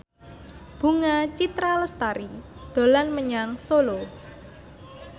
Bunga Citra Lestari dolan menyang Solo